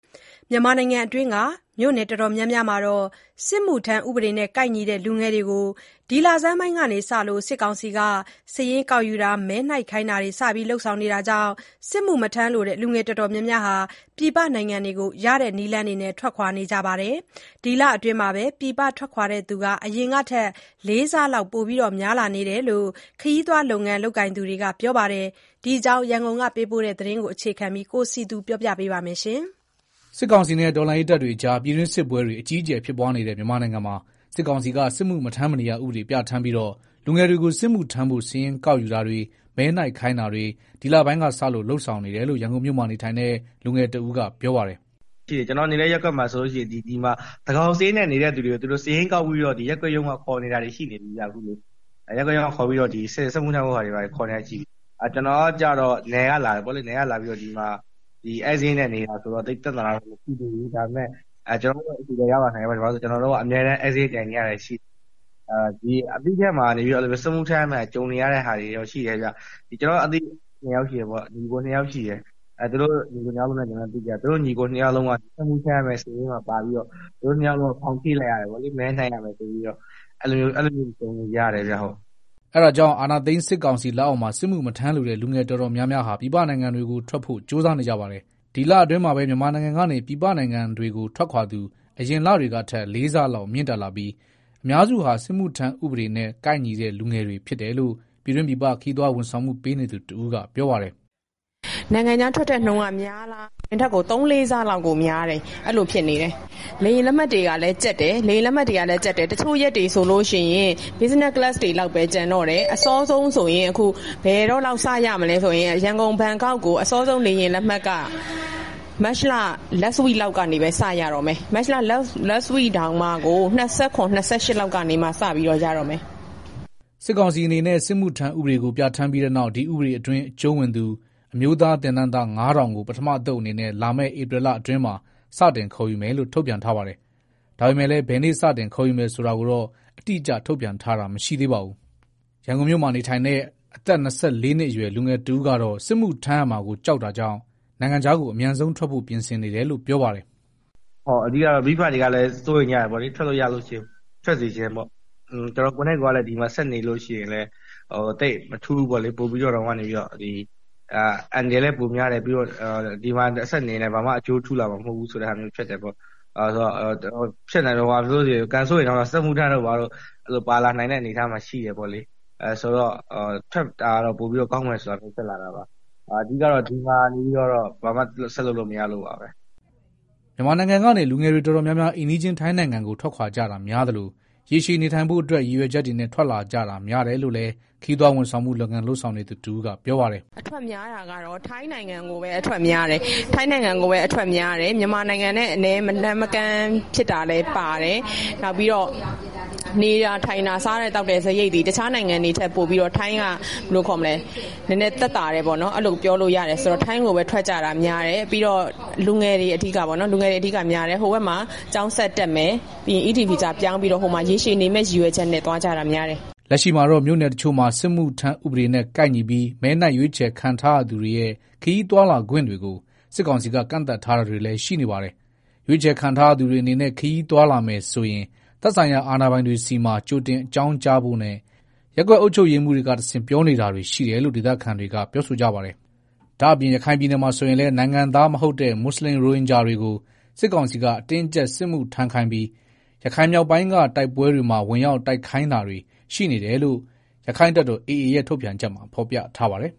မြန်မာနိုင်ငံအတွင်းက မြို့နယ် တော်တော်များမှာ စစ်မှုထမ်းဥပဒေနဲ့ ကိုက်ညီတဲ့ လူငယ်တွေကို ဒီလဆန်းပိုင်းကစလို့ စစ်ကောင်စီက စာရင်းကောက်ယူတာတွေ၊ မဲနှိုက်ခိုင်းတာတွေ စတင် လုပ်ဆောင်နေတာကြောင့် စစ်မှုမထမ်းလိုတဲ့ လူငယ် တော်တော်များများဟာ ပြည်ပနိုင်ငံတွေကို ရတဲ့နည်းလမ်းနဲ့ထွက်ခွာနေကြတာပါ။ ဒီလအတွင်းမှာပဲ ပြည်ပထွက်ခွာသူတွေ အရင်ကထက် ၄ ဆလောက် ပိုများလာတယ်လို့ ခရီးသွားလုပ်ငန်းလုပ်ကိုင်သူတွေက ပြောပါတယ်။ ဒီအကြောင်းပေးပို့ထားတဲ့ သတင်းကို အခြေခံပြီး ကိုစည်သူက တင်ပြပေးပါမယ်။ စစ်ကောင်စီနဲ့ တော်လှန်ရေးတပ်တွေအကြား ပြည်တွင်းစစ်ပွဲတွေ အကြီးအကျယ်ဖြစ်ပွားနေတဲ့ မြန်မာနိုင်ငံမှာ စစ်ကောင်စီက စစ်မှုမထမ်းမနေရ ဥပဒေ ပြဋ္ဌာန်းပြီးတော့ လူငယ်တွေကိုစစ်မှုထမ်းဖို့ စာရင်းကောက်ယူတာတွေ၊ မဲနှိုက်ခိုင်းတာတွေ ဒီလဆန်းပိုင်းစလို့ လုပ်ဆောင်နေတယ်လို့ ရန်ကုန်မြို့မှာ နေထိုင်တဲ့ လူငယ်တဦးကပြောပါတယ်။ “ကျနော်နေတဲ့ ရပ်ကွက်မှာဆိုရင် သန်းခေါင်စာရင်းနဲ့ နေတဲ့သူတွေကို စာရင်းကောက်ပြီးတော့ ရပ်ကွက်ရုံးက ခေါ်နေတာတွေ ရှိနေပြီဗျာ၊ စစ်မှုထမ်းခိုင်းတာတွေ ရှိနေပြီ။ ကျနော်က ကျတော့ နယ်ကလာပြီးတော့ ဒီမှာ ဧည့်စာရင်းနဲ့ နေနေတာဆိုတော့ သိပ်ပြဿနာတော့ မရှိသေးဘူး၊ ဒါပေမဲ့ ကျနော့်ဆီကိုလည်း ရောက်လာနိုင်တယ်။ ဘာလို့လည်းဆိုတော့ ကျနော်က အမြဲတမ်း ဧည့်စာရင်းတိုင်နေရတယ်။ ကျနော့်အသိ ညီအကိုနှစ်ယောက်ဆိုရင်လည်း စစ်မှုထမ်းရမယ့်ထဲမှာ ပါပြီးတော့ ဖောင်ဖြည့်လိုက်ရတယ်။ ပြီးတော့ မဲနှိုက်ရမယ်တဲ့၊ အဲလိုမျိုးတွေ ကြုံနေကြရတယ်။” အဲဒါကြောင့် အာဏာသိမ်းစစ်ကောင်စီ လက်အောက်မှာ စစ်မှုမထမ်းလိုတဲ့ လူငယ်တော်တော်များများဟာ ပြည်ပနိုင်ငံတွေကိုထွက်ဖို့ ကြိုးစားနေကြပါတယ်။ ဒီလအတွင်းမှာပဲ မြန်မာနိုင်ငံကနေ ပြည်ပနိုင်ငံတွေထွက်ခွာသူ အရင်လတွေကထက် ၄ဆလောက်မြင့်တက်ပြီး အများစုဟာ စစ်မှုထမ်းဥပဒေနဲ့ ကိုက်ညီတဲ့ လူငယ်တွေဖြစ်တယ်လို့ ပြည်တွင်းပြည်ပ ခရီးသွားဝန်ဆောင်မှု ပေးနေသူတဦးက ပြောပါတယ်။ “ နိုင်ငံခြားထွက်တဲ့နှုန်းက များလားဆိုတော့ အရင်ကထက် သုံးလေး ဆလောက်ကို များ တယ်။ အဲဒီလိုဖြစ်နေတယ်။ လေယာဉ် လက်မှတ်တွေကလည်း ကျပ်တယ်။ တချို့ရက်တွေဆိုရင် Business class တွေလောက်ပဲ ကျန်တော့တယ်။ အစောဆုံးဆိုရင် ဘယ်တော့လောက် စရမလဲဆိုရင် ရန်ကုန်-ဘန်ကောက်ကို အစောဆုံးလေယာဉ်လက်မှတ်က မတ်လ နောက်ဆုံး အပတ်လောက်မှ စတော့တယ်၊ မတ်လ နောက်ဆုံးအပတ်တောင်မှ ၂၇၊ ၂၈လောက်မှစပြီးတော့ ရတော့မယ်။” စစ်ကောင်စီအနေနဲ့ စစ်မှုထမ်းဥပဒေကို ပြဋ္ဌာန်းပြီးနောက် ဒီ ဥပဒေအတွင်း အကျုံးဝင်သူ အမျိုးသား သင်တန်းသား ၅,၀၀၀ ကို ပထမအသုတ်အဖြစ် လာမယ့် ဧပြီလအတွင်းမှာ စတင် ခေါ်ယူမယ်လို့ ထုတ်ပြန်ထားပါတယ်။ ဒါပေမဲ့လည်း ဘယ်နေ့ စတင်ခေါ်ယူမယ်ဆိုတာကိုတော့ အတိ အကျ ထုတ်ပြန်ထားတာ မရှိသေးပါဘူး။ ရန်ကုန်မြို့မှာထိုင်တဲ့ အသက် ၂၄နှစ်အရွယ် လူငယ်တဦးကတော့ စစ်မှုထမ်းရမှာကို ကြောက်တာကြောင့် နိုင်ငံခြားကို အမြန်ဆုံးထွက်ဖို့ ပြင်ဆင်နေတယ်လို့ ပြောပါတယ်။ “ မိဘတွေကတော့ စိုးရိမ်ကြတာပေါ့လေ၊ ထွက်လို့ရရင် အမြန် ထွက်စေချင်တာပေါ့။ ကျနော်ကိုယ်တိုင်ကလည်း ဒီမှာ ဆက်နေရင် မထူးဘူးပေါ့လေ၊ အန္တရာယ်လည်း ပိုများတယ်။ ပြီးတော့ ဆက်နေလို့လည်း ဘာမှ အကျိုးထူးလာမှာ မဟုတ်ဘူးဆိုတာမျိုး ဖြစ်တယ်။ ကံဆိုးရင် စစ်မှုထမ်းတို့ ဘာတို့ ပါလာနိုင်တဲ့ အနေအထားရှိတယ်။ ဆိုတော့ ထွက်မယ်ဆို တာဖြစ်လာတယ်။ ဒီမှာနေလည်း ဘာမှ ဆက်လုပ်လို့မရလို့ပါပဲ။” မြန်မာနို်င်ငံကနေ လူငယ်တွေ တော်တော်များများ အိမ်နီးချင်း ထိုင်းနိုင်ငံကို ထွက်ကြတာများသလို ရေရှည်နေထိုင်အဖို့ ရည်ရွယ်ချက်တွေနဲ့ ထွက်လာကြတာ များတယ်လို့လည်း ခရီးသွားဝန်ဆောင်လုပ်ငန်း လုပ်ဆောင်နေသူ တဦးကပြောပါတယ်။ “အထွက်များတာကတော့ ထိုင်းနိုင်ငံကိုပဲ အထွက်များတယ်။ မြန်မာနိုင်ငံနဲ့ မလှမ်းမကမ်း ဖြစ်တာလဲပါတယ်။ နောက်ပြီးတော့ နေတာ ထိုင်တာ စားတာ သောက်တာကလည်း တခြားနိုင်ငံတွေထက် ပိုပြီးတော့ ထိုင်းက သက်သာတယ်ဆိုတော့ ထိုင်းကိုပဲ ထွက်ကြတာများတယ်။ ပြီးတော့ လူငယ်တွေ အဓိကများတယ်။ ဟိုဘက်မှာ ကျောင်းတက်မယ်၊ ပြီးရင် ED ဗီဇာ ပြောင်းပြီးတော့ ရေရှည်နေမယ့် ရည်ရွယ်ချက်နဲ့ သွားကြတာများတယ်။” လက်ရှိမှာတော့ မြို့နယ်တချို့မှာ စစ်မှုထမ်းဥပဒေနဲ့ ကိုက်ညီပြီး မဲနှိုက် ရွေးချယ်ခံထားရသူတွေရဲ့ ခရီးသွားလာခွင့်တွေကို စစ်ကောင်စီက ကန့်သတ်တာတွေလည်း ရှိနေပါတယ်။ ရွေးချယ်ခံ ထားရသူတွေအနေနဲ့ ခရီးသွားလာမယ်ဆိုရင် သက်ဆိုင်ရာ အာဏာပိုင်တွေဆီမှာ ကြိုတင် အကြောင်းကြားဖို့နဲ့ ရပ်ကွက် အုပ်ချုပ်ရေးမှူးတွေကတဆင့် ပြောနေတာတွေရှိတယ်လို့ ဒေသခံတွေက ပြောဆိုကြပါတယ်။ ဒါ့အပြင် ရခိုင်ပြည်နယ်မှာ ဆိုရင်လည်း နိုင်ငံသားမဟုတ်တဲ့ မွတ်ဆလင်ရိုဟင်ဂျာတွေကို စစ်ကောင်စီက အတင်းအကျပ်စစ်မှုထမ်းခိုင်းပြီး ရခိုင်မြောက်ပိုင်းက တိုက်ပွဲတွေမှာ ဝင်ရောက် တိုက်ခိုက်ခိုင်းတာတွေ ရှိနေတယ်လို့ ရက္ခိုင့်တပ်တော် AA ရဲ့ ထုတ်ပြန်ချက်မှာ ဖော်ပြထားပါတယ်။